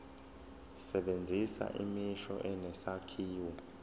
sebenzisa imisho enesakhiwo